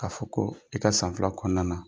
K'a fɔ ko i ka san fila kɔnɔna na